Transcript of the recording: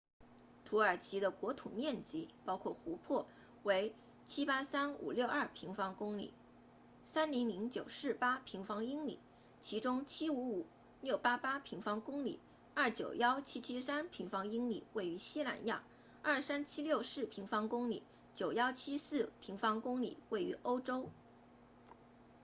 土耳其的国土面积包括湖泊为 783,562 平方公里 300,948 平方英里其中 755,688 平方公里 291,773 平方英里位于西南亚 23,764 平方公里 9,174 平方英里位于欧洲